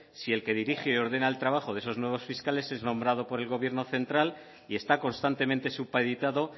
si el que dirige y ordena el trabajo de esos nuevos fiscales es nombrado por el gobierno central y está constantemente supeditado